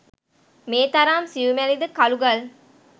මේ තරම් සියුමැලි ද කළු ගල්